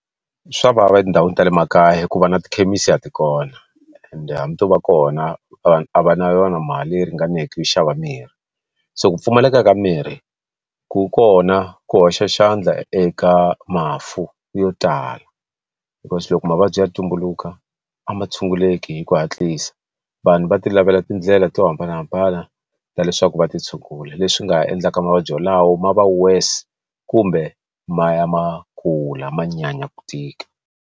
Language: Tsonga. Swa vava etindhawini ta le makaya hi ku va na tikhemisi a ti kona ende hambi to va kona vanhu a va na yona mali leyi ringaneke yo xava mirhi so ku pfumaleka ka mirhi ku kona ku hoxa xandla eka mafu yo tala hikuva loko mavabyi ya tumbuluka a ma tshunguleki hi ku hatlisa vanhu va ti lavela tindlela to hambanahambana ta leswaku va ti tshungula leswi nga endlaka mavabyi walawo ma va worse kumbe ma ya ma kula ma nyanya ku tika.